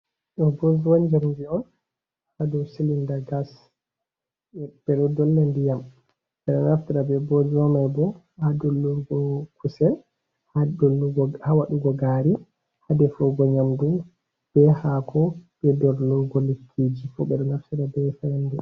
Ɗo bozuwa njamdi on, hadow silinda gas. ɓeɗo dollo ndiyam, ɓeɗo naftira be bozuwa maibo ha dollurgo kusel, hawaɗugo gaari hadefugo nyamdu be hako be dollurgo lekkiji fu ɓeɗo naftira be fayande.